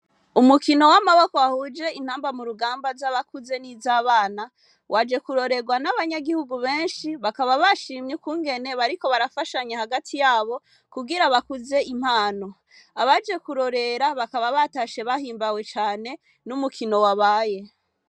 Umukino w'amaboko ahuje intamba mu rugamba z'abakuze n'izo abana waje kurorerwa n'abanyagihugu benshi bakaba bashimye kungene bariko barafashanye hagati yabo kugira bakuze impano abaje kurorera bakaba batashe bahimbawe cane n'umukino wabaye.